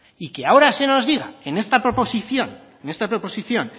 y que ahora se nos diga en esta proposición